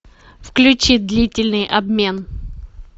включи длительный обмен